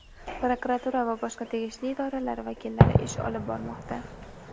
prokuratura va boshqa tegishli idoralar vakillari ish olib bormoqda.